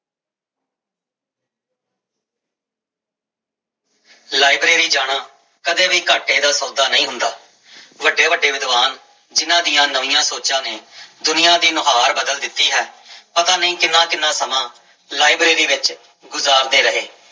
Library ਜਾਣਾ ਕਦੇ ਵੀ ਘਾਟੇ ਦਾ ਸੌਦਾ ਨਹੀਂ ਹੁੰਦਾ ਵੱਡੇ ਵੱਡੇ ਵਿਦਵਾਨ ਜਿਹਨਾਂ ਦੀ ਨਵੀਆਂ ਸੋਚਾਂ ਨੇ ਦੁਨੀਆਂ ਦੀ ਨੁਹਾਰ ਬਦਲ ਦਿੱਤੀ ਹੈ ਪਤਾ ਨੀ ਕਿੰਨਾ ਕਿੰਨਾ ਲਾਇਬ੍ਰੇਰੀ ਵਿੱਚ ਗੁਜ਼ਾਰਦੇ ਰਹੇ।